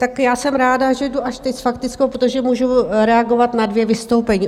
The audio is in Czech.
Tak já jsem ráda, že jdu až teď s faktickou, protože můžu reagovat na dvě vystoupení.